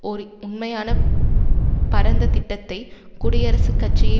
ஓர் உண்மையான பரந்த திட்டத்தை குடியரசுக் கட்சியை